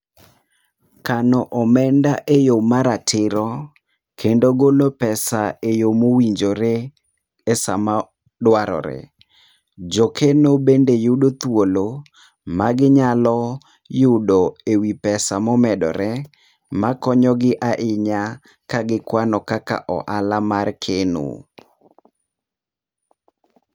Kano omenda eyo maratiro kendo golo pesa eyo mowinjore, esaa madwarore. Jokeno bende yudo thuolo maginyalo yudo ewi pesa momedore, makonyi ahinya ka gikwano kaka ohala mar keno.